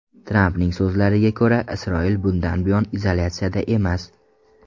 Trampning so‘zlariga ko‘ra, Isroil bundan buyon izolyatsiyada emas.